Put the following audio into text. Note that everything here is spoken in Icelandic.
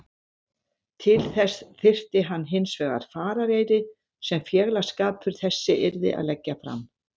Til þess þyrfti hann hinsvegar farareyri sem félagsskapur þessi yrði að leggja fram.